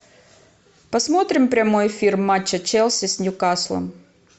посмотрим прямой эфир матча челси с ньюкаслом